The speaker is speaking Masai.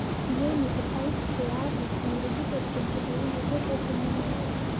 Eyieunoto ai pee aaku olorikito tenkitainoto e senema.